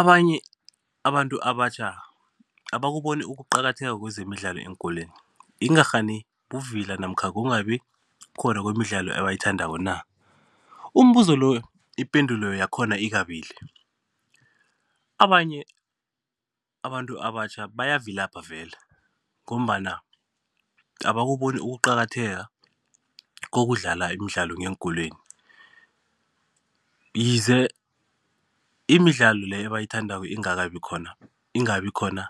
Abanye abantu abatjha abakuboni ukuqakatheka kwezemidlalo eenkolweni. Ingarhani buvila namkha kungabi khona kwemidlalo ebayithandako na? Umbuzo lo ipendulo yakhona ikabili. Abanye abantu abatjha bayavilapha vele ngombana abakuboni ukuqakatheka kokudlala imidlalo ngeenkolweni ize imidlalo leyo abayithandako ingakabi khona, ingabi khona